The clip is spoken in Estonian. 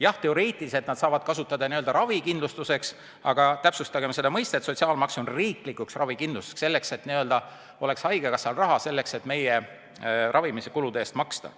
Jah, teoreetiliselt nad saavad kasutada seda ravikindlustuseks, aga täpsustagem seda mõistet: sotsiaalmaks on mõeldud riiklikuks ravikindlustuseks, et haigekassal oleks raha, et meie ravimise kulude eest maksta.